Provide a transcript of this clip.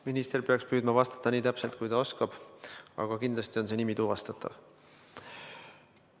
Minister peaks püüdma vastata nii täpselt, kui ta oskab, aga kindlasti on see nimi tuvastatav.